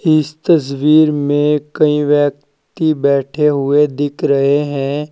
इस तस्वीर में कई व्यक्ति बैठे हुए दिख रहे है।